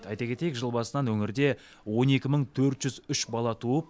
ай кетейік жыл басынан өңірде он екі мың төрт жүз үш бала туып